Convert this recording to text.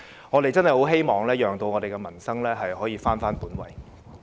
我們真的希望可以讓民生返回本位。